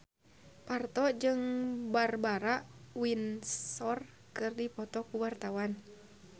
Parto jeung Barbara Windsor keur dipoto ku wartawan